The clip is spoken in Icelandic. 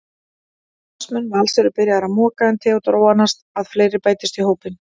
Starfsmenn Vals eru byrjaðir að moka en Theódór vonast að fleiri bætist í hópinn.